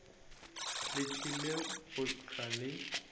le tlile go hlwa le